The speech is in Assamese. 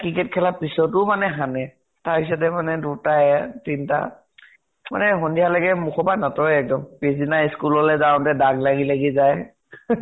cricket খেলাৰ পিছতো মানে সানে। তাৰ পিছতে মানে দুটা এয়া তিনটা মানে সন্ধীয়া লৈকে মুখৰ পৰা নাতৰে এক্দম। পিছ্দিনা school লৈ যাওঁতে দাগ লাগি লাগি যায়